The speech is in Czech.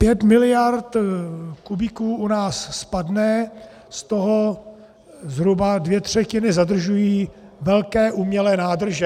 Pět miliard kubíků u nás spadne, z toho zhruba dvě třetiny zadržují velké umělé nádrže.